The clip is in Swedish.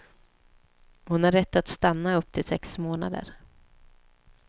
Hon har rätt att stanna upp till sex månader.